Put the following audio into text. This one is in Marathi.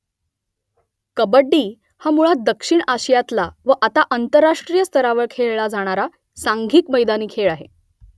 कबड्डी हा मुळात दक्षिण आशियातला व आता आंतरराष्ट्रीय स्तरावर खेळला जाणारा सांघिक मैदानी खेळ आहे